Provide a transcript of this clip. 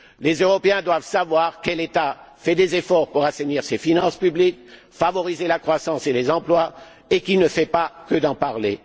Les Européens doivent savoir quel État fait des efforts pour assainir ses finances publiques, favoriser la croissance et les emplois et qu'il ne fait pas que d'en parler.